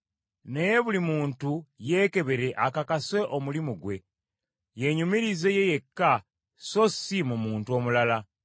Naye buli muntu yeekebere akakase omulimu ggwe, yenyumirize ye yekka so si mu muntu omulala.